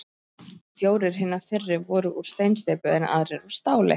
Fjórir hinna fyrri voru úr steinsteypu, en aðrir úr stáli.